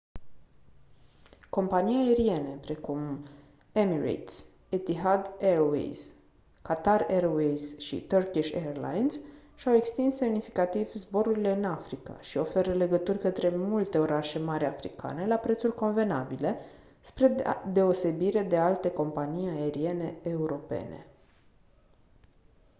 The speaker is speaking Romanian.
companii aeriene precum emirates etihad airways qatar airways și turkish airlines și-au extins semnificativ zborurile în africa și oferă legături către multe orașe mari africane la prețuri convenabile spre deosebire de alte companii aeriene europene